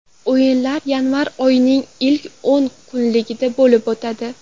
O‘yinlar yanvar oyining ilk o‘n kunligida bo‘lib o‘tadi.